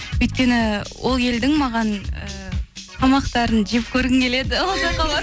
өйткені ол елдің маған ііі тамақтарын жеп көргім келеді ол жаққа барып